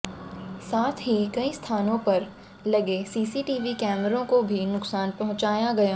साथ ही कई स्थानों पर लगे सीसीटीवी कैमरों को भी नुकसान पहुँचाया गया